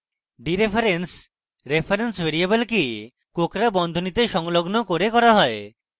dereference reference ভ্যারিয়েবলকে কোঁকড়া বন্ধনীতে সংলগ্ন করে করা হয়